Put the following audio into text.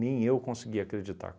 eu conseguia acreditar.